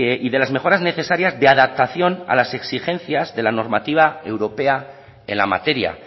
y de las mejoras necesarias de adaptación a las exigencias de la normativa europea en la materia